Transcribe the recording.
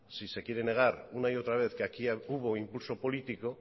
si se quiere negar una y otra vez que aquí hubo impulso político